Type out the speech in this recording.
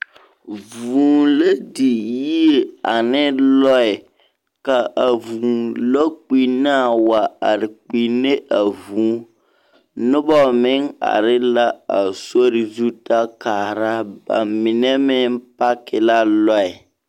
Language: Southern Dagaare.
Vũũ la di yie ane lͻԑ. ka a vũũ lͻkpinnaa wa are kpinne a vũũ. Noba meŋ are la a sori zu ta kaara ba mine meŋ paaki la lͻԑ.